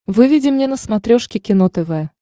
выведи мне на смотрешке кино тв